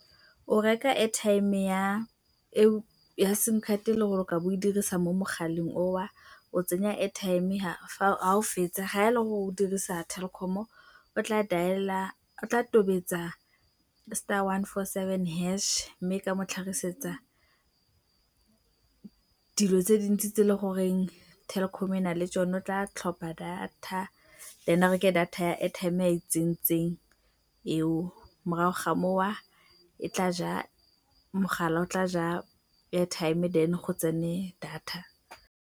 O reka airtime ya simcard e e leng gore o tla bo o e dirisa mo mogaleng oo, o tsenya airtime fa o fetsa, fa e le gore o dirisa Telkom-o o tla dialer, o tla tobetsa star one four seven hash mme e tla mo tlhagisetsa dilo tse dintsi tse e leng gore Telkom e na le tsone. O tla tlhopha data, ene a reke data ya airtime e a e tsentseng eo, morago ga moo mogala o tla ja airtime then go tsene data.